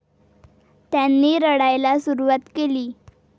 त्यांनी रडायला सुरुवात केली.